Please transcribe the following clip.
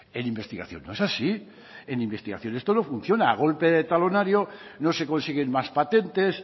en investigación no es así en investigación esto no funciona a golpe de talonario no se consiguen más patentes